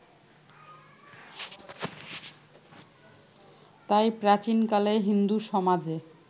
তাই প্রাচীনকালে হিন্দু সমাজে